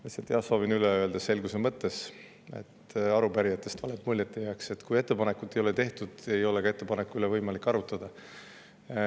Lihtsalt, jah, soovin üle öelda selguse mõttes, et arupärijatest valet muljet ei jääks: kui ettepanekut ei ole tehtud, siis ei ole ka ettepaneku üle võimalik arutada.